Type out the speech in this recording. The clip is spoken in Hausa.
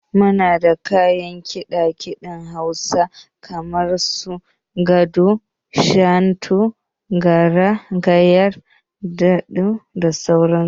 Muna da kayan kiɗa kiɗen na Hausawa kamar su, Goge, Shantu, Garaya, kda sauran su.